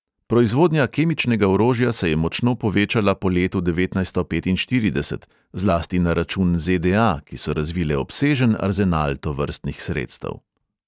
Proizvodnja kemičnega orožja se je močno povečala po letu devetnajststo petinštirideset, zlasti na račun ze|de|a, ki so razvile obsežen arzenal tovrstnih sredstev.